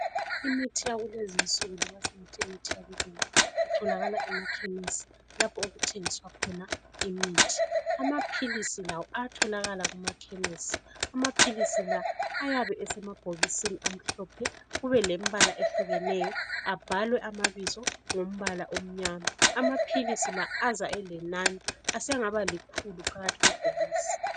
imithi yakulezinsuku esingathi yimithi yesilungu itholakala emakhemisi lapho okuthengiswa khona imithi amaphilisi lawo ayatholakala kuma khemesi amaphilisi la ayabe esemabhokisisni amhlophe kube lembala ehlukeneyo abhalwe amabizo ngombala omnyama amaphilisi la aza ele nani sengaba likhulu phakathi kwebhokisi